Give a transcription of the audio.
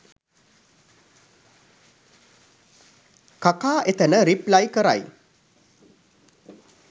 කකා එතන රිප්ලයි කරයි